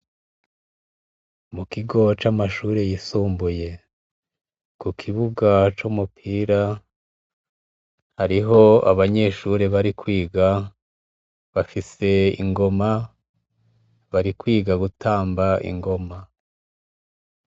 Mu kigo c'amashure yisumbuye. Ku kibuga c'umupira, hariho abanyeshure bari kwiga bafise ingoma bari kwiga gutamba ingoma.